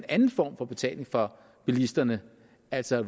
anden form for betaling for bilisterne altså